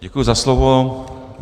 Děkuji za slovo.